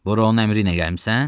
Bura onun əmri ilə gəlmisən?